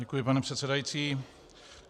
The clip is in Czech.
Děkuji, pane předsedající.